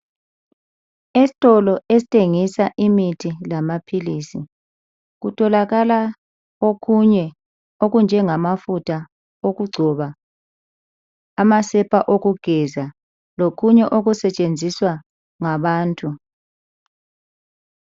Esitolo esithengisa imithi lamaphilizi kutholakala okunye okunjengamafutha okugcoba, amasepa okugeza lokunye okusetshenziswa ngabantu.